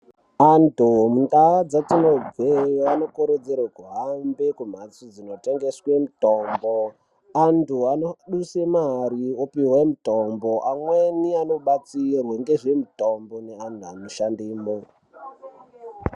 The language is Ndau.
Antu kundau dzatinobveyo anokurudzirwa kuhambe mundau dzinotengeswa mitombo antu anosisa mare mitombo amweni anobatsirwa nezvemitombo neantu anoshandamo.